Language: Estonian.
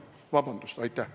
Vabandust!